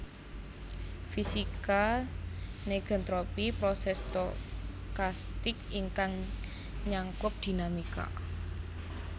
Fisika negentropy proses stokastik ingkang nyangkup dinamika